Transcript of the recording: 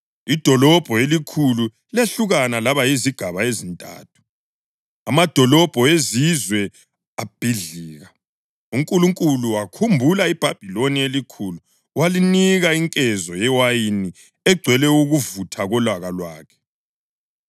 Idolobho elikhulu lehlukana laba yizigaba ezintathu, amadolobho ezizwe abhidlika. UNkulunkulu wakhumbula iBhabhiloni eliKhulu walinika inkezo yewayini egcwele ukuvutha kolaka lwakhe.